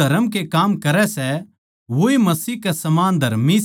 जो परमेसवर की ऊलाद सै वो बारबार पाप न्ही करता क्यूँके मसीह का सुभाव